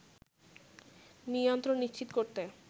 নিয়ন্ত্রণ নিশ্চিত করতে